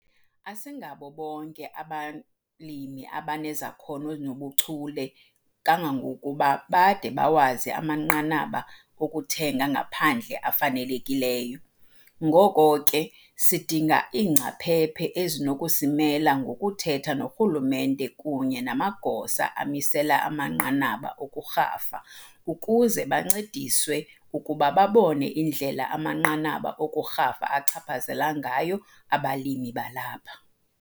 Asingabo bonke abalimi abanezakhono zobuchule kangangokuba bade bawazi amanqanaba okuthenga ngaphandle afanelekileyo, ngoko ke sidinga iingcaphephe ezinokusimela ngokuthetha norhulumente kunye namagosa amisela amanqanaba okurhafa ukuze bancediswe ukuba babone indlela amanqanaba okurhafa achaphazela ngayo abalimi balapha.